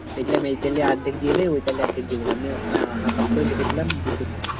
দেখলাম এই তালে অর্ধেক দিয়ে দেয় ঐ তালে অর্ধেক দিব আপাতত লেখে দিলাম দুটোতে